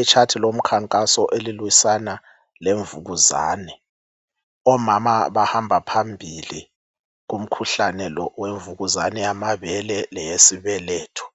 Itshathi lomkhankaso elilwisana lemvukuzane. Omama abahamba phambili komkhuhlane lo owemvukuzane yamabele leyesibeletho.